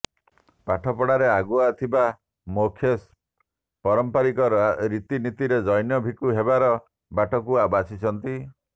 ପାଠପଢ଼ାରେ ଆଗୁଆ ଥିବା ମୋକ୍ଷେଶ୍ ପାରମ୍ପରିକ ରୀତିନୀତିରେ ଜୈନ ଭିକ୍ଷୁ ହେବାର ବାଟକୁ ବାଛିଛନ୍ତି